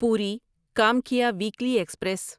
پوری Kamakhya weekly express